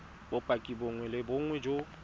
bopaki bongwe le bongwe jo